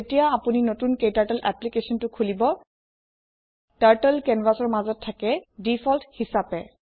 যেতিয়া আপোনি নতুন ক্টাৰ্টল এপলিকেছন এটা খোলিব টাৰ্টল কেনভাছৰ মাজত থাকে ডিফল্ট হিচাপে